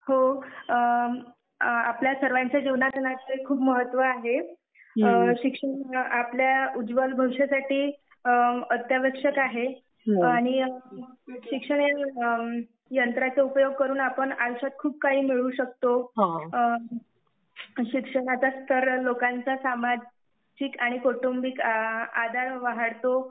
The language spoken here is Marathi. हो हो आपल्या सर्वांच्या जीवनात आजकाल ह्याला खुप महत्व आहे. शिक्षण आपल्या उज्वल भविष्यासाठी अत्यावश्यक आहे. आणि शिक्षणाचा उपयोग करून आपण आयुष्यात खूप काही मिळवू शकतो. शिक्षणामुळे लोकांचा सामाजिक व कौटुंबिक आदर वाढतो.